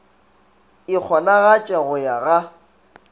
e kgonagatše go ya ga